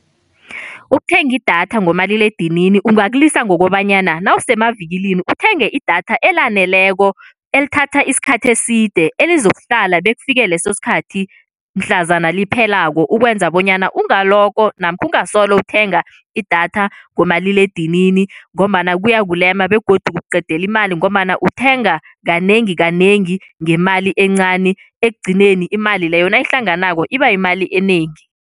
Ukuthenga idatha ngomaliledinini ungakulisa ngokobanyana nawusemavikilini uthenge idatha elaneleko elithatha isikhathi eside elizokuhlala bekufike leso sikhathi mhlazana liphelako ukwenza bonyana ungalokho namkha ungasolo uthenga idatha ngomaliledinini ngombana kuyakulema begodu kukuqedela imali ngombana uthenga kanengi kanengi ngemali encani ekugcineni imali leyo nayihlanganako iba yimali enengi.